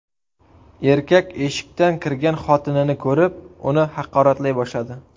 Erkak eshikdan kirgan xotinini ko‘rib, uni haqoratlay boshladi.